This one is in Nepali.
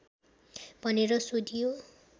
भनेर सोधियो